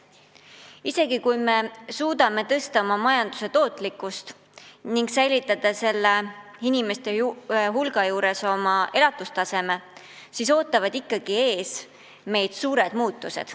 Isegi kui me suudame suurendada oma majanduse tootlikkust ning säilitada selle inimeste hulga juures oma elatustaseme, ootavad meid ikkagi ees suured muutused.